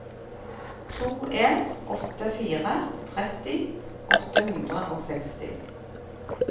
to en åtte fire tretti åtte hundre og seksti